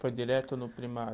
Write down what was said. Foi direto no primário?